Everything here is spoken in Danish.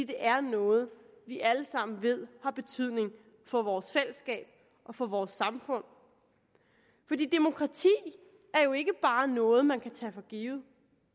er noget vi alle sammen ved har betydning for vores fællesskab og for vores samfund demokrati er jo ikke bare noget man kan tage for givet